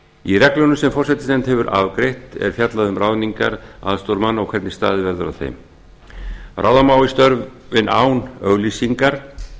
í reglunum sem forsætisnefnd hefur afgreitt er fjallað um ráðningar aðstoðarmanna og hvernig staðið verður að þeim ráða má í störfin án auglýsingar að minnsta